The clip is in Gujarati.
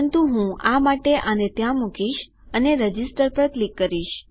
પરંતુ હું આ માટે આને ત્યાં મુકીશ અને રજીસ્ટર પર ક્લિક કરીશ